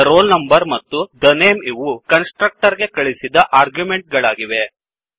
the roll number ಮತ್ತು the name ಇವು constructor ಗೆ ಕಳಿಸಿದ ಆರ್ಗ್ಯುಮೆಂಟ್ ಗಳಾಗಿವೆ